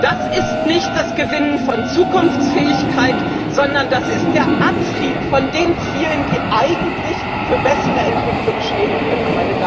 Das ist nicht das Gewinnen von Zukunftsfähigkeit, sondern das ist der Abschied von den Zielen, die eigentlich für bessere Entwicklungen stehen könnten.